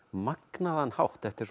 magnaðan hátt þetta er